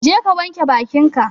Jeka wanka bakin ka